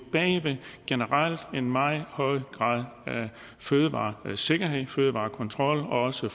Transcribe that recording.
generelt meget høj grad af fødevaresikkerhed fødevarekontrol og også